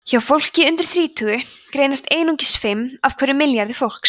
hjá fólki undir þrítugu greinast einungis fimm af hverjum milljarði fólks